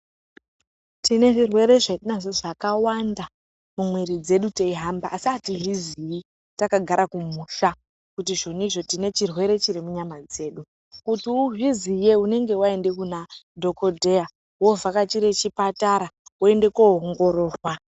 Tinezvirwere zvatinazvo zvakawanda mumuiri dzedu tichihamba, asi hatizvizivi takagara kumusha kuti zvoni tine chirwere chirimukati menyama dzedu .Kuti uzviziye unenge waende kunadhogodheya, wovhakachire chipatara woende koongororwa.